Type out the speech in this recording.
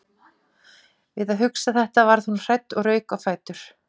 Við að hugsa þetta varð hún hrædd og rauk á fætur.